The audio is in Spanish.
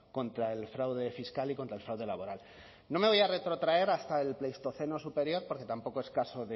contra el fraude fiscal y contra el fraude laboral no me voy a retrotraer hasta el pleistoceno superior porque tampoco es caso